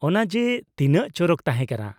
ᱚᱱᱟ ᱡᱮ ᱛᱤᱱᱟᱹᱜ ᱪᱚᱨᱚᱠ ᱛᱟᱦᱮᱸ ᱠᱟᱱᱟ ᱾